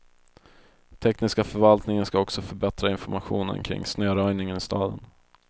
Tekniska förvaltningen skall också förbättra informationen kring snöröjningen i staden.